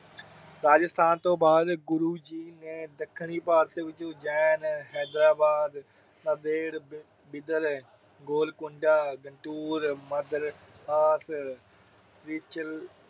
ਰਾਜਸਥਾਨ ਤੋਂ ਬਾਦ ਗੁਰੂ ਜੀ ਨੇ ਦੱਖਣੀ ਭਾਰਤ ਉਜੈਨ, ਹੈਦਰਾਬਾਦ ਗੋਲਕੁੰਡਾ,